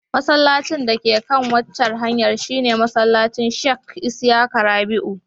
Masallacin dake kan waccan hanyar shi ne masallacin Sheikh Isyaka Rabi'u.